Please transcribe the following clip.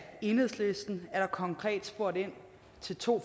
enhedslisten er der konkret spurgt ind til to